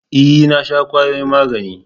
E, na sha kwayoyin magani.